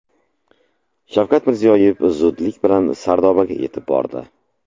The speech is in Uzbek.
Shavkat Mirziyoyev zudlik bilan Sardobaga yetib bordi.